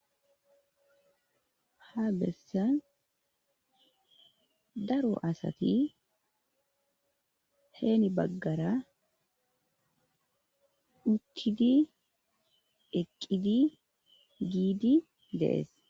Ha bessan daro asati heeni baggara uttidi eqqidi giidi dees